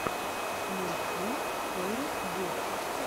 найти стори буф